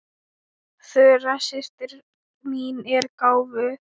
Þura systir mín er gáfuð.